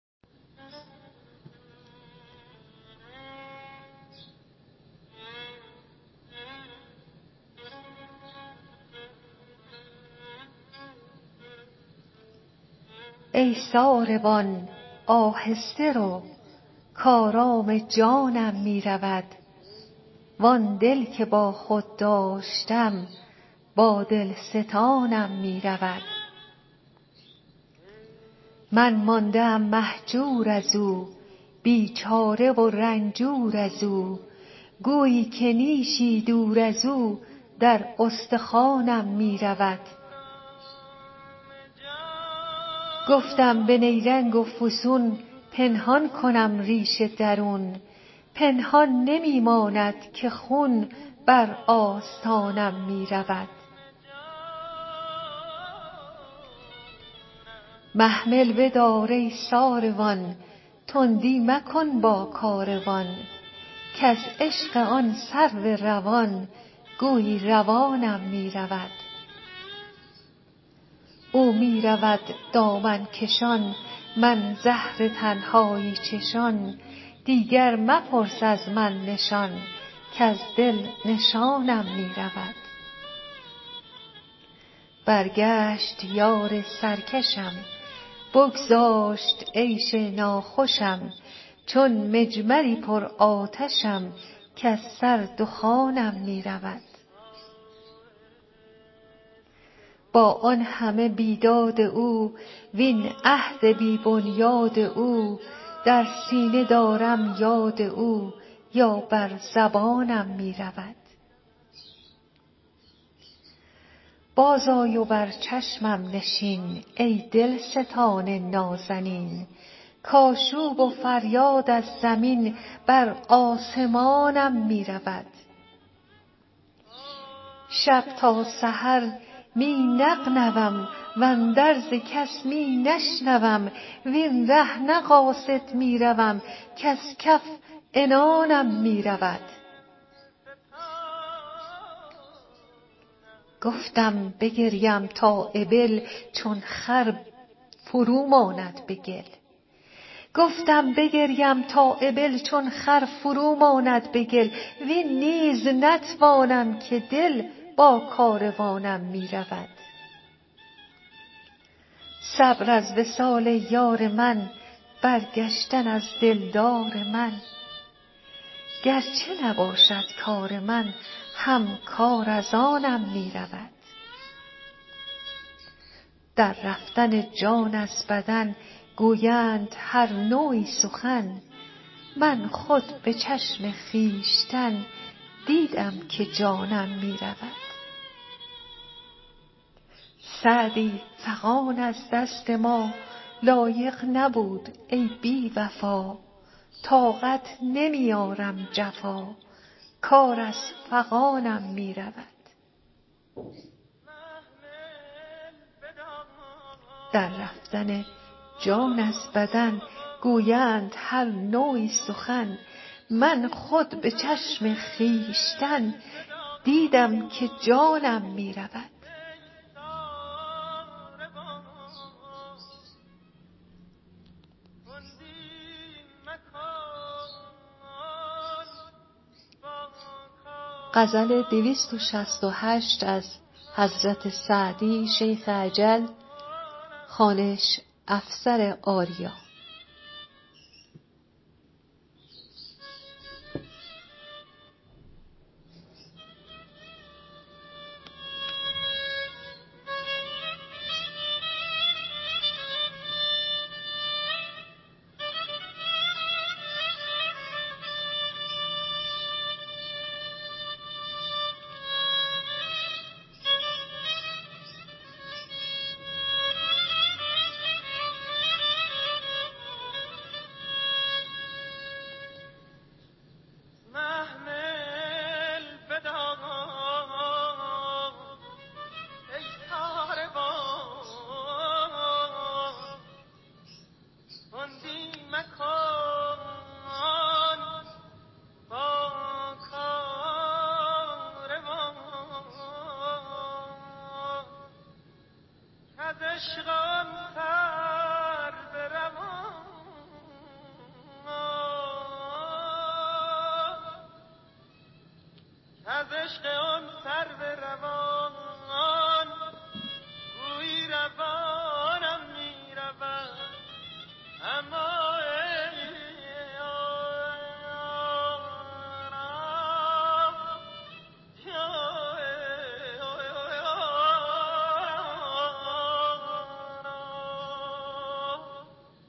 ای ساربان آهسته رو کآرام جانم می رود وآن دل که با خود داشتم با دل ستانم می رود من مانده ام مهجور از او بیچاره و رنجور از او گویی که نیشی دور از او در استخوانم می رود گفتم به نیرنگ و فسون پنهان کنم ریش درون پنهان نمی ماند که خون بر آستانم می رود محمل بدار ای ساروان تندی مکن با کاروان کز عشق آن سرو روان گویی روانم می رود او می رود دامن کشان من زهر تنهایی چشان دیگر مپرس از من نشان کز دل نشانم می رود برگشت یار سرکشم بگذاشت عیش ناخوشم چون مجمری پرآتشم کز سر دخانم می رود با آن همه بیداد او وین عهد بی بنیاد او در سینه دارم یاد او یا بر زبانم می رود بازآی و بر چشمم نشین ای دلستان نازنین کآشوب و فریاد از زمین بر آسمانم می رود شب تا سحر می نغنوم واندرز کس می نشنوم وین ره نه قاصد می روم کز کف عنانم می رود گفتم بگریم تا ابل چون خر فرو ماند به گل وین نیز نتوانم که دل با کاروانم می رود صبر از وصال یار من برگشتن از دلدار من گر چه نباشد کار من هم کار از آنم می رود در رفتن جان از بدن گویند هر نوعی سخن من خود به چشم خویشتن دیدم که جانم می رود سعدی فغان از دست ما, لایق نبود ای بی وفا طاقت نمی آرم جفا کار از فغانم می رود